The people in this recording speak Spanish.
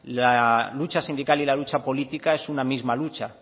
la lucha sindical y la lucha política es una misma lucha